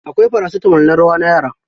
Akwai paracitamol na ruwa na yara.